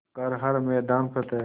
कर हर मैदान फ़तेह